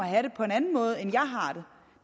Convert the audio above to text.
have det på en anden måde end jeg